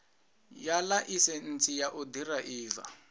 ya ḽaisentsi ya u ḓiraiva